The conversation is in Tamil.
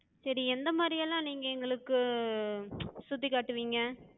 சரி எந்த மாரி எல்லா நீங்க எங்களுக்குச் சுத்தி காட்டுவிங்க?